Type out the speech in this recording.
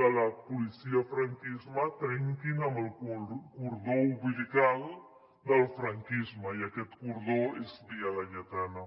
de la policia franquista trenquin amb el cordó umbilical del franquisme i aquest cordó és via laietana